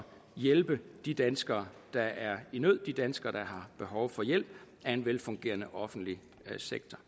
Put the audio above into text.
hjælpe de danskere der er i nød de danskere der behov for hjælp af en velfungerende offentlig sektor